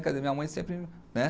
Quer dizer, minha mãe sempre, né?